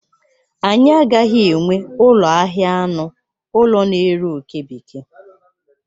Anyị agaghị enwe ụlọ ahịa anụ ụlọ na-ere oke bekee.